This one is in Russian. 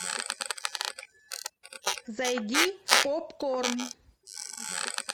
зайди в попкорн